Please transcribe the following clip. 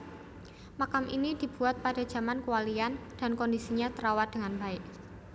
Makam ini dibuat pada jaman kewalian dankondisinya terawat dengan baik